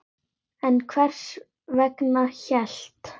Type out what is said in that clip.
En hvers vegna hélt